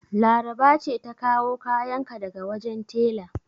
Laraba ce ta kawo kayan ka daga wajen tela.